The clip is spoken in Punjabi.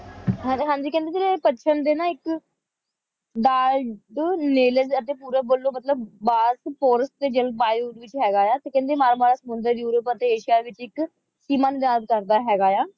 ਹਾਂ ਜੀ ਹਾਂ ਜੀ ਕਹਿੰਦੇ ਜਿਹੜੇ ਪੱਛਮ ਦੇ ਨਾ ਇੱਕ ਬਲਟਨੇਲਜ਼ ਅਤੇ ਪੂਰਬ ਵੱਲੋਂ ਮਤਲਬ ਬਲਟਫੋਰਸ ਤੇ ਜਲਵਾਯੂ ਦੇ ਵਿੱਚ ਹੈਗਾ ਆ ਤੇ ਕਹਿੰਦੇ ਨਾਲ ਨਾਲ ਸਮੁੰਦਰੀ ਯੂਰੋਪ ਅਤੇ ਏਸ਼ੀਆ ਵਿੱਚ ਇੱਕ ਸੀਮਾ ਨਿਰਧਾਰਿਤ ਕਰਦਾ ਹੈਗਾ